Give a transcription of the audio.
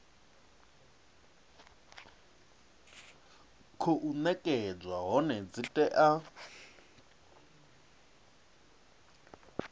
khou nekedzwa hone dzi tea